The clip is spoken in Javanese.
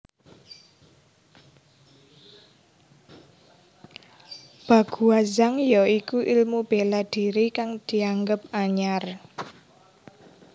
Baguazhang ya iku ilmu bela diri kang dianggep anyar